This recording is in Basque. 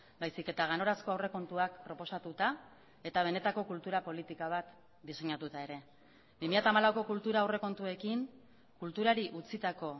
baizik eta ganorazko aurrekontuak proposatuta eta benetako kultura politika bat diseinatuta ere bi mila hamalauko kultura aurrekontuekin kulturari utzitako